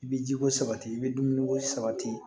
I bɛ jiko sabati i bɛ dumuniko sabati